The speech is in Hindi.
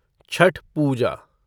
छठ पूजा